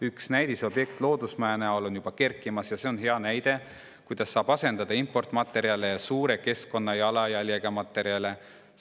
Üks näidisobjekt loodusmaja näol on kerkimas ja see on hea näide, kuidas saab asendada importmaterjale ja suure keskkonnajalajäljega materjale.